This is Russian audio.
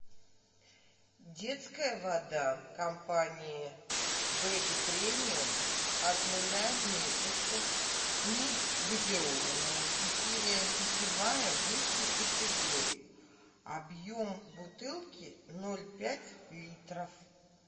детская вода компании бэби премиум от нуля месяцев негазированная питьевая высшей категории объем бутылки ноль пять литров